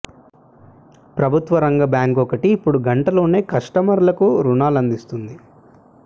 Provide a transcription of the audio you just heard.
ప్రభుత్వ రంగ బ్యాంక్ ఒకటి ఇప్పుడు గంటలోనే కస్టమర్లకు రుణాలు అందిస్తోంది